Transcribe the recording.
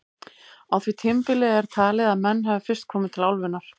Á því tímabili er talið að menn hafi fyrst komið til álfunnar.